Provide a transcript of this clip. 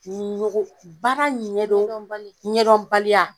Ni ɲogo baara ɲɛdon ɲɛdɔnbali ɲɛdɔn baliya